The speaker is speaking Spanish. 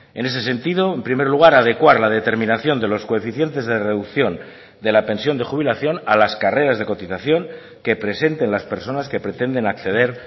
en ese sentido en primer lugar adecuar la determinación de los coeficientes de reducción de la pensión de jubilación a las carreras de cotización que presenten las personas que pretenden acceder